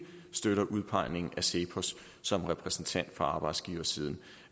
støtter udpegningen af cepos som repræsentant for arbejdsgiversiden